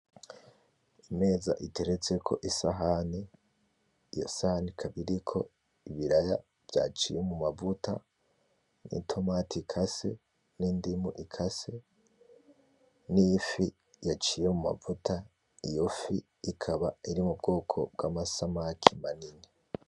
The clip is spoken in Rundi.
Imeza iteretseko isahani. Iyo sahani ikaba iriko ibiraya vyaciye mumavuta, n'itomati ikase, n'indimu ikase, n'ifi yaciye mumavuta. Iyo fi ikaba iri mubwoko bw'amasamaki manini.